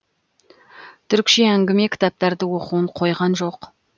түрікше әңгіме кітаптарды оқуын қойған жоқ